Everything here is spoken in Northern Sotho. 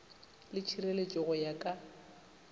le tšhireletšo go ya ka